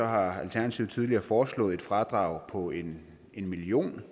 har alternativet tidligere foreslået et fradrag på en million